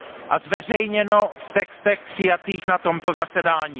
a zveřejněno v textech přijatých na tomto zasedání.